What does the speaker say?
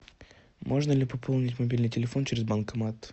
можно ли пополнить мобильный телефон через банкомат